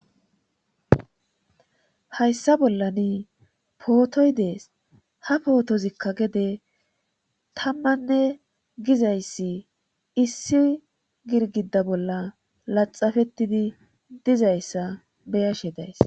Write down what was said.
hayssa bollani pootoy dees ha pootozikka gede tammanne gizayssi issi girgida bolla laxafettidi dizayssa beyashe days